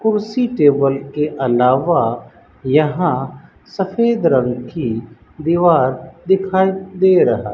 कुर्सी टेबल के अलावा यहां सफेद रंग की दीवार दिखाई दे रहा।